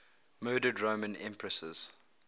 murdered roman empresses